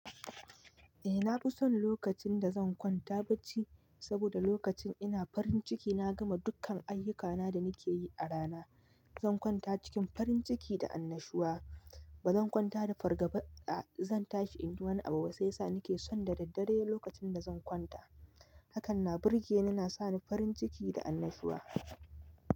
Eh, na fi son lokacin da zan kwanta bacci saboda lokacin ina farin ciki na gama dukkan ayyukana da nake yi a rana. Zan kwanta cikin farin ciki da annashuwa, ba zan kwanta da fargaba ba. Zan tashi in yi wani abu sai sa nake son da daddare lokacin da zan kwanta. Hakan na burge ni, na sa ni farin ciki da annashuwa.